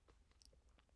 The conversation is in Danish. TV 2